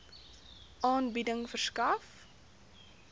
aanbieding verskaf